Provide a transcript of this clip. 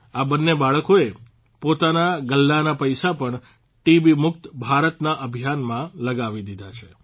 આ બંને બાળકોએ પોતાના ગલ્લાના પૈસા પણ ટીબીમુક્ત ભારતના અભિયાનમાં લગાવી દીધા છે